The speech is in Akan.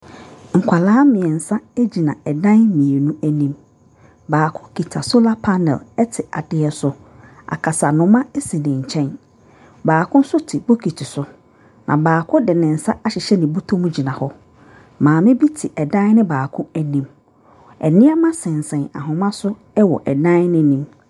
Nkwadaa mmeɛnsa gyina dan mmienu anim. Baako kita solar te adeɛ so. Akasanoma sine nkyɛn. Baako nso te bokiti so, na baako de ne nsa ahyehyɛ ne bɔtɔm gyina hɔ. Maame bi te ɛdan no bako anim. Nneɛma sensɛn ahoma so wɔ dan no anim.